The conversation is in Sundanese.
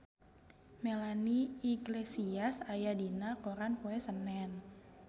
Melanie Iglesias aya dina koran poe Senen